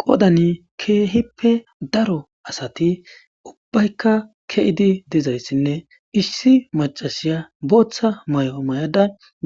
qodani keehippe daro asati ubbaykka ke7idi dizayssinne issi macasiya booththa may7o may7ada